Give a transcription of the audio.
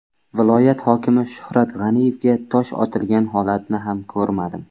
Viloyat hokimi Shuhrat G‘aniyevga tosh otilgan holatni ham ko‘rmadim.